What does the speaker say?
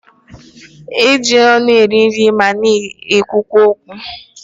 E ji ọnụ eri nri ma na-ekwukwa okwu.